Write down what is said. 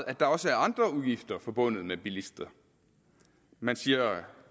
at der også er andre udgifter forbundet med bilister man siger